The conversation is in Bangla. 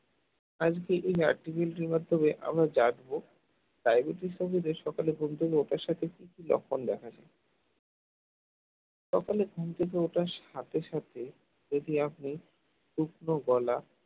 আজকে আমরা জানবো diabetes রোগীদের সকালে ঘুম থেকে ওঠার সাথে সাথে কি লক্ষণ দেখা যায় সকালে ঘুম থেকে ওঠার সাথে সাথে যদি আপনি শুকনো গলা